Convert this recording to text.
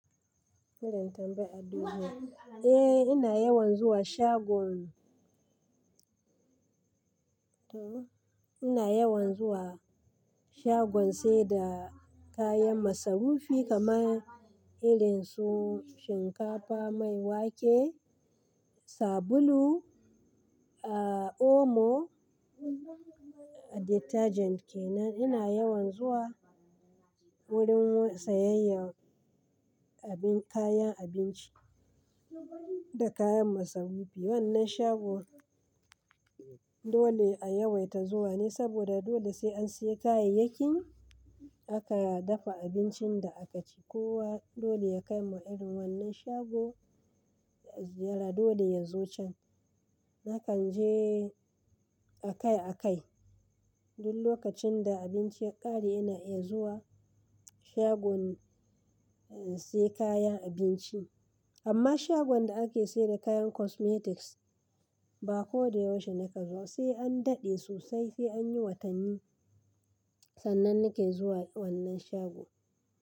Eh ina yawan zuwa shago. Ina yawan zuwa shagon saida kayan masarufi kamar irin su shinkafa, mai wake, sabulu, omo detergent kenan. Ina yawan zuwa wurin sayayyar kayan abinci da kayan masarufi. Wannan shagon dole a yawaita zuwa ne saboda dole sai an siya kayayyakin aka dafa abincin da aka ci. Kowa dole ya kai mu irin wannan shagon, dole ya zo can. Nakan je akai akai. Duk lokacin da abinci ya ƙare ina iya zuwa shagon in siya kayan abinci. Amma shagon da ake saida kayan cosmetics ba koda yaushe nakan zo. Sai an daɗe sosai sai an yi watanni sannan nake zuwa wannan shago.